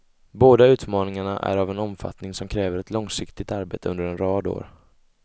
Båda utmaningarna är av en omfattning som kräver ett långsiktigt arbete under en rad år.